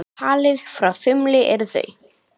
Talið frá þumli eru þau